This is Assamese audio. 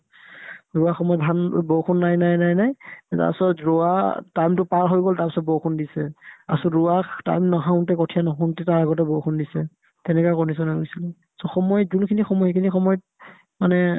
ৰোৱা সময়ত ধান বৰষুণ নাই নাই নাই নাই তাৰপিছত ৰোৱা time তো পাৰ হৈ গ'ল তাৰপিছত বৰষুণ দিছে তাৰপিছত ৰোৱা টান নাখাওতে কঠিয়া নহওতে তাৰ আগতে বৰষুণ দিছে তেনেকা condition হৈ গৈছিলে so সময় কোনখিনি সময় সেইখিনি সময়ত মানে